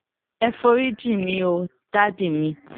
ẹ forí jìn mí o dádì mi